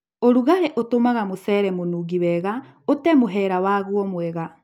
Ũrugarĩ mũingĩ ũtũmaga mũcere mũnungi wega ũte mũhera waguo mwega